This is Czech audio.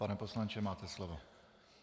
Pane poslanče, máte slovo.